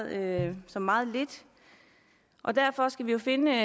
virke som meget lidt og derfor skal vi finde